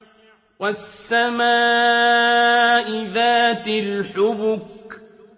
وَالسَّمَاءِ ذَاتِ الْحُبُكِ